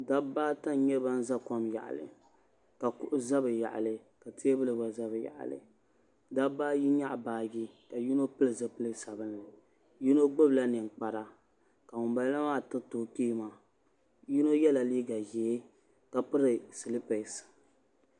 dabba ata n nyɛ ban za kom yaɣali ka kuɣu za bɛ yaɣali ka teebulu gba za bɛ yaɣali dabba ayi nyaɣi baagi ka yino pili zipil sabinli yino gbibila ninkpari ka ŋunbala maa tiriti o kpee maa yino yela liiga ʒee ka piri silipesi